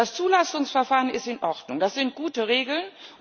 Das Zulassungsverfahren ist in Ordnung, das sind gute Regeln.